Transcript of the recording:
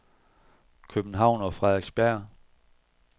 København og Frederiksberg